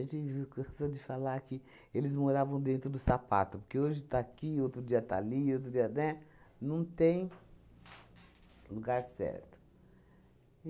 gente viu cansou de falar que eles moravam dentro do sapato, porque hoje está aqui, outro dia está ali, outro dia, né? Não tem lugar certo.